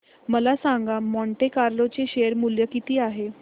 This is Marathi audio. मला सांगा मॉन्टे कार्लो चे शेअर मूल्य किती आहे